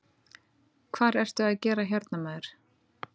Hvar ertu að gera hérna maður?